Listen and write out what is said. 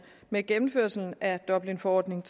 med gennemførelsen af dublinforordning